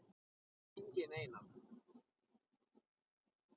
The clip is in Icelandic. Enginn Einar